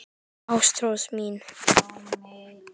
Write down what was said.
Ástrós mín.